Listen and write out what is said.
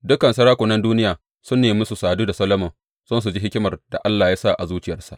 Dukan sarakunan duniya sun nemi su sadu da Solomon don su ji hikimar da Allah ya sa a zuciyarsa.